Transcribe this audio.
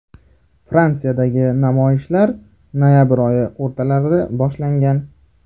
Fransiyadagi namoyishlar noyabr oyi o‘rtalarida boshlangan.